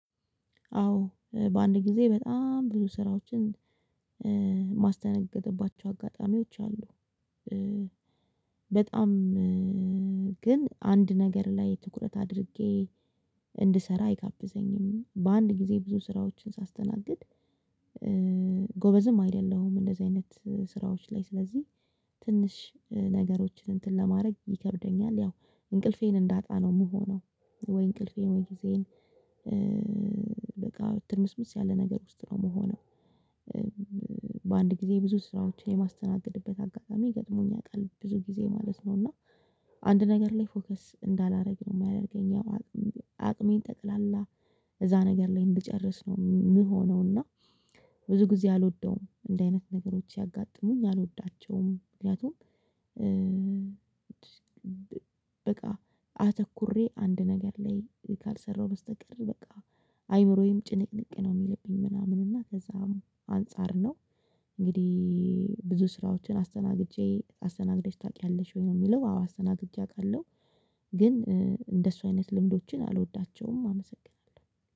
አዎ በአንድ ጊዜ በጣም ብዙ ስራዎችን ማስተናግድባቸው አጋጣሚዎች አሉ። በጣም ግን አንድ ነገር ላይ ትኩረት አድርጌ እንድሰራ አይጋብዘኝም። በአንድ ጊዜ ብዙ ስራዎችን ሳስተናግድ ጎበዝም አይደለሁም። እንደዚህ አይነት ስራዎች ላይ ስለዚህ ትንሽ ነገሮችን እንትን ለማድረግ ይከብደኛል። ያው እንቅልፌን እንዳጣ ነው የምሆነው። ወይ እንቅልፌን ወይ ጊዜን? በቃ ትርምስምስ ያለ ነገር ውስጥ ነው የምሆነው። በአንድ ጊዜ ብዙ ስራዎችን የማስተናግድበት አጋጣሚ ገጥሞኝ ያውቃል ብዙ ጊዜ ማለት ነው። እና አንድ ነገር ላይ ፎከስ እንዳላደርግ ነው የሚያደርገኝ። ያው አቅሜን ጠቅላላ እዛ ነገር ላይ እንደጨረስነው የምሆነው። እና ብዙ ጊዜ አልወደውም እንደዚህ አይነት ነገሮች ሲያጋጥሙኝ አልወዳቸውም። ምክንያቱም በቃ አተኩሬ አንድ ነገር ላይ ካልሰራሁ በስተቀር በቃ አይምሮዬም ጭንቅንቅ ነው የሚልብኝ ምናምን እና ከዛም አንፃር ነው። እንግዲህ ብዙ ስራዎችን አስተናግጄ አስተናግደሽ ታውቂያለሽ ወይ ነው የሚለው? አዎ አስተናግጄ አውቃለሁ። ግን እንደሱ አይነት ልምዶችን አልወዳቸውም አመሰግናለሁ